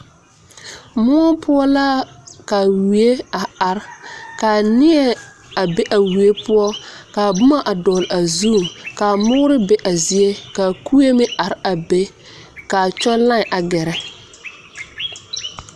Moɔ poɔ la ka wie a are ka neɛ a be a wie poɔ ka a boma a dɔgle a zu ka moore be a zie ka kue meŋ are be ka a kyɔŋ line a gɛrɛ.